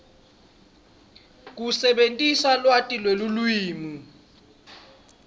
kusebentisa lwati lwelulwimi